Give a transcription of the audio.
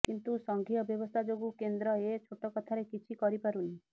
କିନ୍ତୁ ସଂଘୀୟ ବ୍ୟବସ୍ଥା ଯୋଗୁ କେନ୍ଦ୍ର ଏ ଛୋଟ କଥାରେ କିଛି କରିପାରୁନି